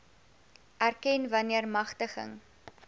erken wanneer magtiging